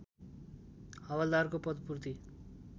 हवल्दारको पदपूर्ति